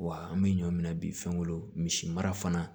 Wa an bɛ ɲɔ minɛ bi fɛnko misi mara fana